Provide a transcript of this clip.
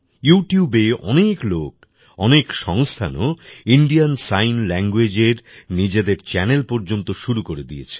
Youtubeএ অনেক লোক অনেক সংস্থানও ইন্ডিয়ান সাইন languageএর নিজেদের চ্যানেল পর্যন্ত শুরু করে দিয়েছে